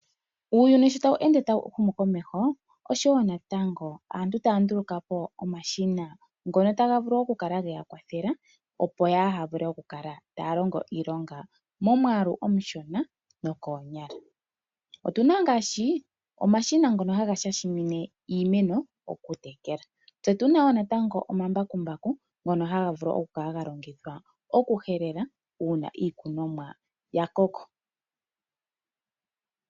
Uuyuni sho ta wu ende ta wu humu komeho, oshowo natango aantu taya nduluka po omashina ngono taga vulu oku kala geya kwathela opo yaaha vule oku kala taya longo iilonga momwaalu omushona nokoonyala. Otuna ngaashi omashina ngono haga shashimine iimeno okutekela. Tse tuna wo natango omambakumbaku ngono haga vulu oku kala galongithwa oku helela uuna iikunomwa yakoko.